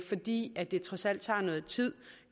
fordi det trods alt tager noget tid